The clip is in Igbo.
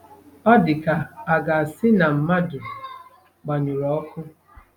Ọ dị ka a ga-asị na mmadụ gbanyụrụ ọkụ.